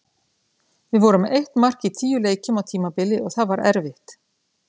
Við vorum með eitt mark í tíu leikjum á tímabili og það var erfitt.